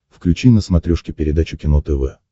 включи на смотрешке передачу кино тв